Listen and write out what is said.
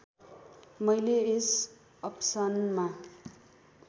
मैले यस अप्सनमा